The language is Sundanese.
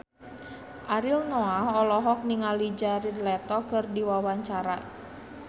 Ariel Noah olohok ningali Jared Leto keur diwawancara